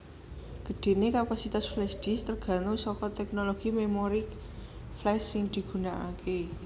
Gedhenè kapasitas flashdisk tergantung saka teknologi memori flash sing digunakakè